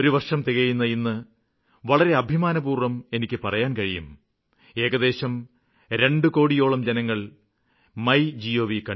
ഒരു വര്ഷം തികയുന്ന ഇന്ന് വളരെ അഭിമാനപൂര്വ്വം എനിക്ക് പറയാന് കഴിയും ഏകദേശം 2 കോടിയോളം ജനങ്ങള് മൈ ഗോവ്